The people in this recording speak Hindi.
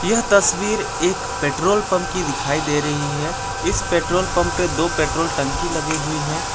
यह तस्वीर एक पेट्रोल पंप की दिखाई दे रही है इस पेट्रोल पंप पे दो पेट्रोल टंकी लगी हुई है।